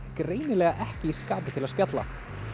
greinilega ekki í skapi til að spjalla